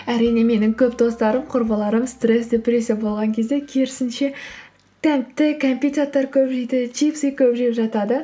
әрине менің көп достарым құрбыларым стресс депрессия болған кезде керісінше тәтті кәмпит заттар көп жейді чипсы көп жеп жатады